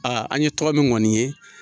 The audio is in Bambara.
an ye tɔgɔ min ŋɔni ye